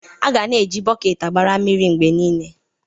A ga-na eji bọket agbara mmiri mgbe niile.